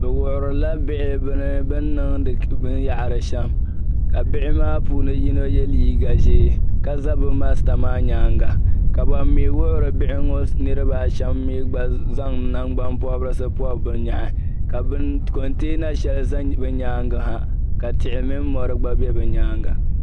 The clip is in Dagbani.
Bɛ wuhirila bihi bɛni niŋdi binyɛri shɛm ka bihi maa puuni yino ye liiga ʒee ka za bɛ karimba maa nyaaŋa ka ban mi wuhiri bihi maa niriba shɛm gba za nangbani pɔrisi pɔb bɛ nyahi ka bɛni ka konteena shɛli ʒi bɛ nyaaŋa ha ka tihi mɔri gba bɛ be nyaaŋa.